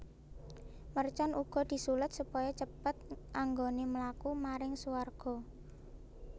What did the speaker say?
Mercon uga disuled supaya cepet anggoné mlaku maring suwarga